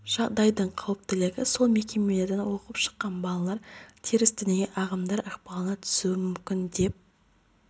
жағдайдың қауіптілігі сол бұл мекемелерден оқып шыққан балалар теріс діни ағымдар ықпалына түсуі мүмкін деп